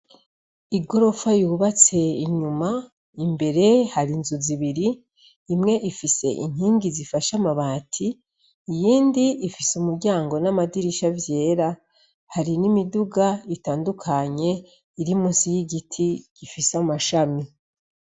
Igorofa yubatse inyuma imbere hari inzu zibiri imwe ifise inkingi zifashe amabati iyindi ifise umuryango n' amadirisha vyera hari n' imiduga itandukanye iri munsi y igiti gifise amashami.